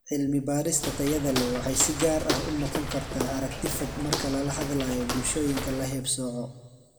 Cilmi-baadhista tayada leh waxay si gaar ah u noqon kartaa aragti fog marka lala hadlayo bulshooyinka la haybsooco.